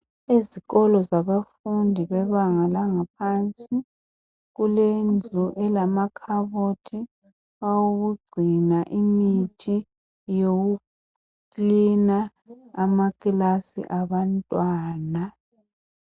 Ezikolo zabafundi bebanga langaphansi kulendlu elamakhabothi awokugcina imithi yokukilina amakilasi abantwana.